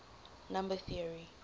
number theory